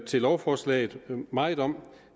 til lovforslaget meget om